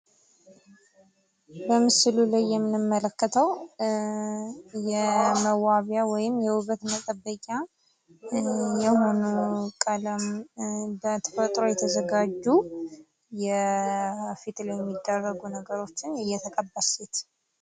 በምስሉ ላይ የምንመለከተው የመዋቢያ ወይም የዉበት መጠበቂያ የሆኑ ቀለም፣ በተፈጥሮ የተዘጋጁ የፊት ላይ የሚደረጉ ነገሮችን የተቀባች ሴት።